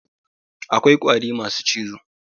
Akwai ƙwari masu cizo